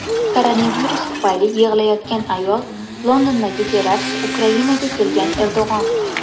Koronavirus tufayli yig‘layotgan ayol, Londondagi terakt, Ukrainaga kelgan Erdo‘g‘on.